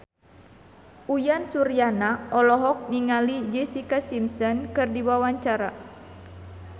Uyan Suryana olohok ningali Jessica Simpson keur diwawancara